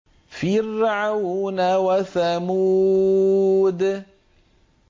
فِرْعَوْنَ وَثَمُودَ